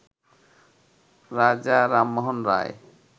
রাজা রামমোহন রায়